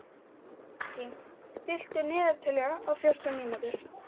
Valentín, stilltu niðurteljara á fjórtán mínútur.